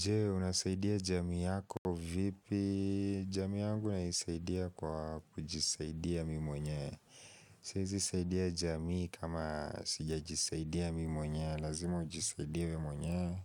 Je, unasaidia jami yako vipi jami yangu naisaidia kwa ujisaidia mi mwenye Siezi saidia jami kama sija jisaidia mi mwenye, lazima ujisaidia mi mwenye